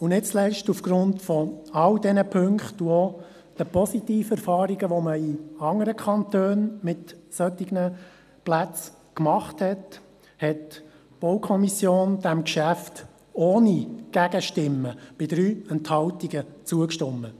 Nicht zuletzt aufgrund all dieser Punkte und der positiven Erfahrungen, die man in anderen Kantonen mit solchen Plätzen gemacht hat, hat die BaK diesem Geschäft ohne Gegenstimmen bei 3 Enthaltungen zugestimmt.